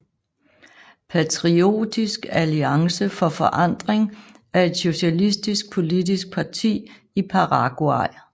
Patriotisk Alliance For Forandring er et socialistisk politisk parti i Paraguay